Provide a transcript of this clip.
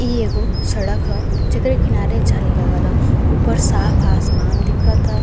इ एगो सड़क ह जेकरे किनारे झारी लगल ह। ऊपर साफ आसमान दिखत ह।